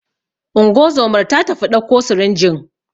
Ungozomar ta tafi ɗauko sirinjin